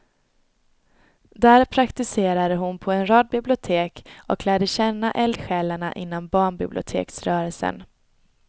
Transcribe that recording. Där praktiserade hon på en rad bibliotek och lärde känna eldsjälarna inom barnbiblioteksrörelsen.